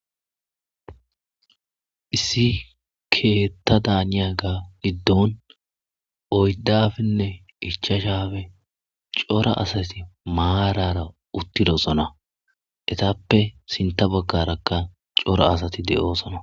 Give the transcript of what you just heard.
Issi keetta daaniya ga giddon oydafinne ichashabe cora asati maarara uttidosona etappe sinta baggarakka cora asati de'oosona.